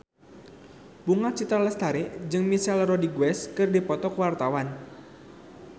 Bunga Citra Lestari jeung Michelle Rodriguez keur dipoto ku wartawan